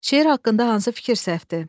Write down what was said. Şeir haqqında hansı fikir səhvdir?